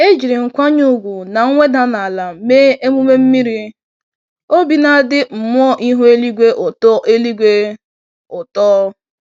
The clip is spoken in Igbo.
Ejírí nkwanye ùgwù na mweda n'ala mee emume mmiri, obi nadi mmụọ ihu eluigwe ụtọ eluigwe ụtọ